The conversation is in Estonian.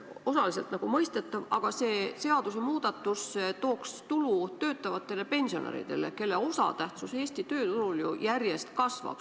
Osaliselt nagu mõistetav, aga see seadusemuudatus tooks tulu töötavatele pensionäridele, kelle osatähtsus Eesti tööturul järjest kasvab.